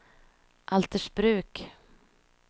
Altersbruk